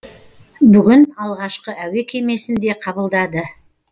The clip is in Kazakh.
бүгін алғашқы әуе кемесін де қабылдады